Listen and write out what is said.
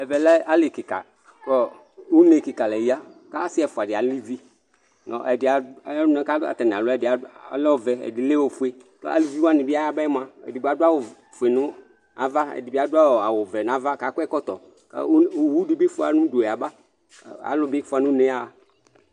Ɛvɛ lɛ ali kika ku une kika la ya ku asi ɛfua di ali izi Ɛdi ayu ɔnu ku atani alu ɛdi lɛ ɔvɛ ɛdi lɛ ɔfue ku eluvi wani bi aya ba yɛ mua edigbo adu awu ɔfue nu ava ɛdibi adu awu ɔvɛ nu ava ku akɔ ɛkɔtɔ Owudi bi fua nu udu ya ba Alu bi fua nu une yaɣa